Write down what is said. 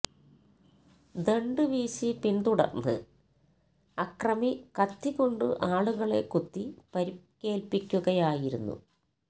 ദണ്ഡ് വീശി പിന്തുടര്ന്ന് അക്രമി കത്തി കൊണ്ട് ആളുകളെ കുത്തി പരിക്കേല്പ്പിക്കുകയായിരുന്നു